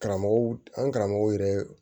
Karamɔgɔw an karamɔgɔw yɛrɛ